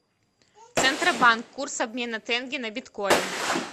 центробанк курс обмена тенге на биткоин